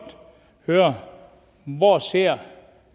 høre hvor ser